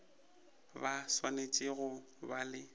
ba swanetše go ba le